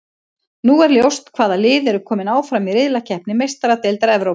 Nú er ljóst hvaða lið eru kominn áfram í riðlakeppni Meistaradeildar Evrópu.